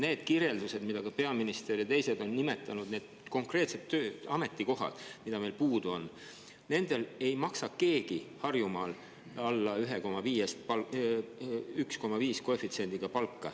Need kirjeldused, mida ka peaminister ja teised on nimetanud, need konkreetsed ametid, kus meil puudu on, nendele ei maksa keegi Harjumaal alla 1,5 koefitsiendiga palka.